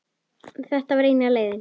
En þetta var eina leiðin.